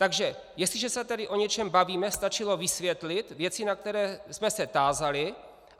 Takže jestliže se tedy o něčem bavíme, stačilo vysvětlit věci, na které jsme se tázali.